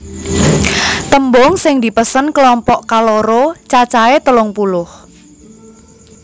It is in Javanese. Tembung sing dipesen klompok kaloro cacahé telung puluh